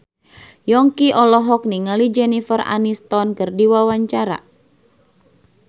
Yongki olohok ningali Jennifer Aniston keur diwawancara